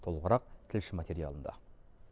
толығырақ тілші материалында